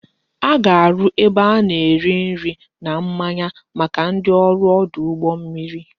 A ga-arụ ebe a na-ere nri na mmanya maka ndị ọrụ ọdụ ụgbọ mmiri